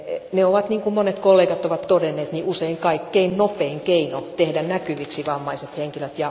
Ne ovat, kuten monet kollegat ovat todenneet, usein kaikkein nopein keino tehdä näkyviksi vammaiset henkilöt.